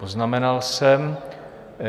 Poznamenal jsem.